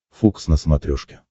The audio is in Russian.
фокс на смотрешке